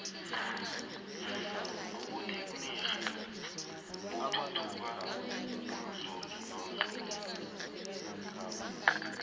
ubuthegnirhi buthuthuka umzuzu nomzuzu